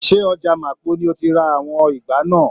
Se ọja Mapo ni o tí ra àwọn ìgbá náà?